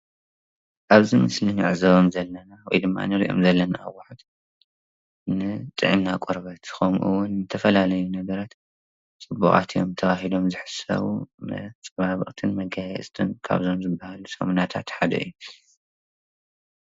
ኣብዚ ምስሊ እንዕዘቦም ዘለና ወይ እንሪኦም ዘለና ንጥዕና ቆርበት ከምኡውን ንዝተፈላለዩ ነገራት ፅቡቃት እዮም ተባሂሎም ዝሕሰቡ መፀባበቅትን መጋየፅትን ካብ ዝባሃሉ ሳሙናታት ሓደ እዩ፡፡